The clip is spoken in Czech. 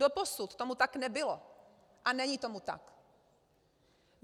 Doposud tomu tak nebylo a není tomu tak.